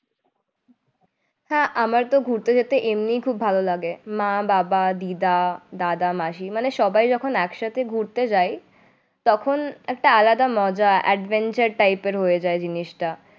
হ্যাঁ আমার তো ঘুরতে যেতে এমনিই খুব ভালো লাগে। মা, বাবা, দিদা, দাদা, মাসি মানে সবাই যখন একসাথে ঘুরতে যায় তখন একটা আলাদা মজা adventure type এর হয়ে যায় জিনিসটা